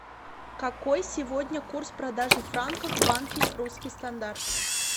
какой сегодня курс продажи франков в банке русский стандарт